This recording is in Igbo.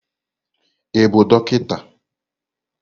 Ị bụ dọkịta?